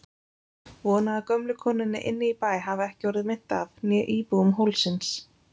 Vona að gömlu konunni inni í bæ hafi ekki orðið meint af, né íbúum hólsins.